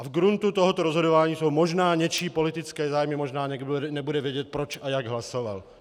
A v gruntu tohoto rozhodování jsou možná něčí politické zájmy, možná někdo nebude vědět, proč a jak hlasoval.